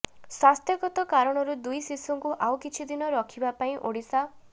ସ୍ୱାସ୍ଥ୍ୟଗତ କାରଣରୁ ଦୁଇଶିଶୁଙ୍କୁ ଆଉ କିଛି ଦିନ ରଖିବା ପାଇଁ ଓଡ଼ିଶା